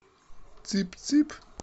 цып цып